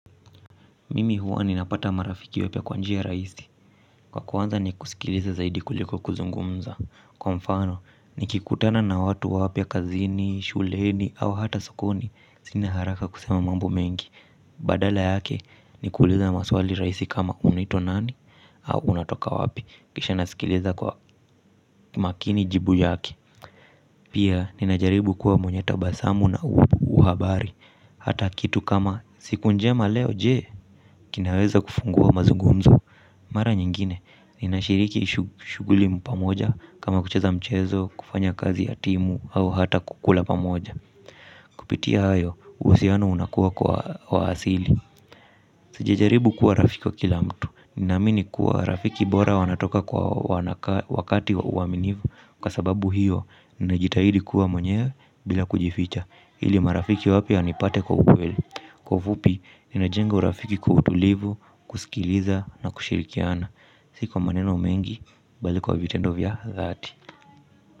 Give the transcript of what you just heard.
Mimi huwa ni napata marafiki wapya kwanjia rahisi. Kwa kwanza ni kusikiliza zaidi kuliko kuzungumza. Kwa mfano ni kikutana na watu wapya kazini, shuleni au hata sokoni. Sina haraka kusema mambo mengi. Badala yake ni kuliza na maswali raisi kama unaitwa nani. Au unatoka wapi kisha nasikiliza kwa makini jibu yake. Pia ni najaribu kuwa mwenye tabasamu na uhabari. Hata kitu kama siku njema leo jee kinaweza kufungua mazugumzo. Mara nyingine, ninashiriki shuguli pamoja kama kucheza mchezo, kufanya kazi ya timu, au hata kukula pamoja. Kupitia hayo, husiano unakuwa kwa waasili. Sijajaribu kuwa rafiki wa kila mtu. Ninamini kuwa rafiki bora wanatoka kwa wakati wa uaminivu. Kwa sababu hiyo, ninajitahidi kuwa mwenyewe bila kujificha ili marafiki wapya wanipate kwa ukweli. Kwa ufupi, ninajenga urafiki kwa utulivu, kusikiliza na kushirikiana. Siko kwa maneno mengi, bali kwa vitendo vya dhati.